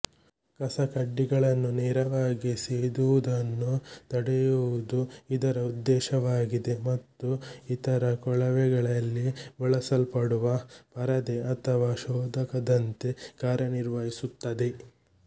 ಕಸಕಡ್ಡಿಗಳನ್ನು ನೇರವಾಗಿ ಸೇದುವುದನ್ನು ತಡೆಯುವುದು ಇದರ ಉದ್ದೇಶವಾಗಿದೆ ಮತ್ತು ಇತರ ಕೊಳವಗೆಳಲ್ಲಿ ಬಳಸಲ್ಪಡುವ ಪರದೆ ಅಥವಾ ಶೋಧಕದಂತೆ ಕಾರ್ಯನಿರ್ವಹಿಸುತ್ತದೆ